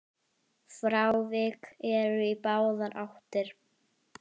Frávik eru í báðar áttir.